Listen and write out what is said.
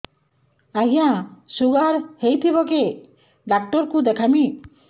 ଆଜ୍ଞା ଶୁଗାର ହେଇଥିବ କେ ଡାକ୍ତର କୁ ଦେଖାମି